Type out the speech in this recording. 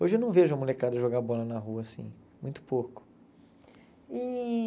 Hoje eu não vejo a molecada jogar bola na rua, assim, muito pouco. E